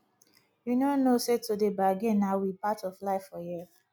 you no know sey to dey bargin na we part of life for here